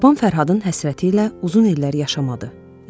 Babam Fərhadın həsrəti ilə uzun illər yaşamadı.